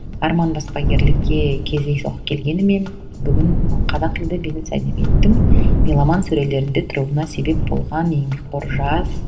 арман баспагерлікке кездейсоқ келгенімен бүгін қазақ тілді бизнес әдебиеттің меломан сөрелерінде тұруына себеп болған еңбекқор жас